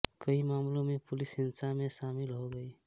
कई मामलों में पुलिस हिंसा में शामिल हो गई